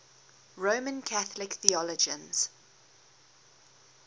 roman catholic theologians